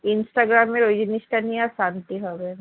Instagram এ ওই জিনিসটা নিয়ে আর শান্তি হবে না।